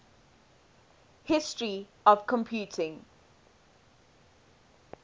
history of computing